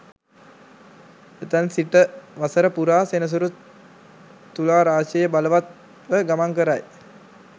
එතැන් සිටවසර පුරා සෙනසුරු තුලා රාශියේ බලවත්ව ගමන් කරයි